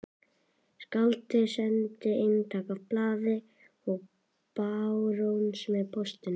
Skáldið sendi eintak af blaðinu til barónsins með póstinum.